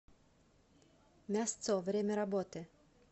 мясцо время работы